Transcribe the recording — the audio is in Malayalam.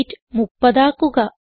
വെയ്റ്റ് 30 ആക്കുക